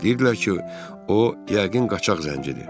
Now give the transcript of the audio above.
Deyirdilər ki, o, yəqin qaçaq zəncidir.